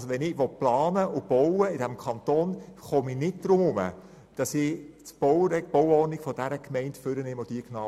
Wenn ich in diesem Kanton planen und bauen will, komme ich nicht darum herum, die Bauordnung der Gemeinde zu studieren.